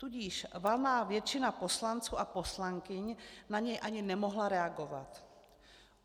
Tudíž valná většina poslanců a poslankyň na něj ani nemohla reagovat.